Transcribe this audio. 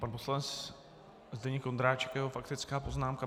Pan poslanec Zdeněk Ondráček a jeho faktická poznámka.